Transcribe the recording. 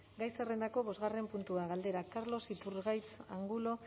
gai zerrendako bosgarren puntua galdera carlos iturgaiz angulo